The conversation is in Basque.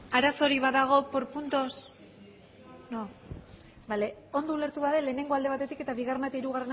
arazorik badago por puntos no ondo ulertu badut lehenengoa alde batetik eta bigarrena eta hirugarrena